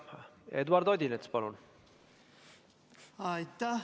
Eduard Odinets, palun!